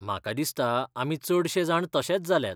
म्हाका दिसता आमी चडशेजाण तशेच जाल्यात.